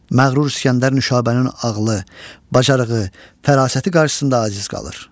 Məğrur İsgəndər Nüşabənin ağlı, bacarığı, fərasəti qarşısında aciz qalır.